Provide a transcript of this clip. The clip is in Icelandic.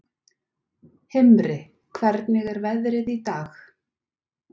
Himri, hvernig er veðrið í dag?